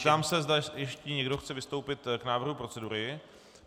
Zeptám se, zda ještě někdo chce vystoupit k návrhu procedury.